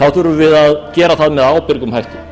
þá þurfum við að gera það með ábyrgum hætti